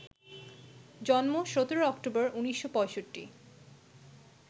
জন্ম ১৭ অক্টোবর, ১৯৬৫